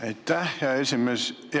Aitäh, hea esimees!